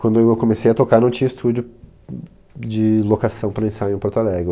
Quando eu comecei a tocar, não tinha estúdio de locação para ensaios em Porto Alegre.